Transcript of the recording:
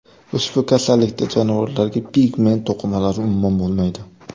Ushbu kasallikda jonivorlarda pigment to‘qimalari umuman bo‘lmaydi.